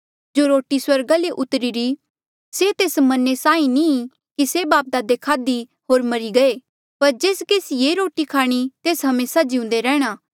जो रोटी स्वर्गा ले उतरीरी से तेस मन्ने साहीं नी कि से बापदादे खाधी होर मरी गये पर जेस केसी ये रोटी खाणी तेस हमेसा जिउंदे रैंह्णां